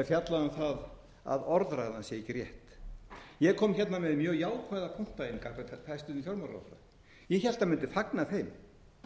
er fjallað um það að orðræðan sé ekki rétt ég kom hérna með mjög jákvæða punkta gagnvart hæstvirtum fjármálaráðherra ég hélt hann mundi fagna þeim